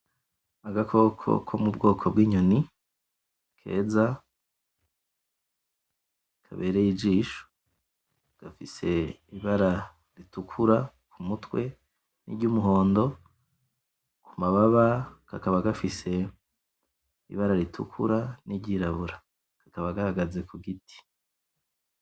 Agakoko ko mu bwoko bw'inyoni, keza, kabereye ijisho, gafise ibara ritukura kumutwe niryumuhondo, kumababa kakaba gafise ibara ritukura n'iryirabura, kakaba gahagaze kugiti.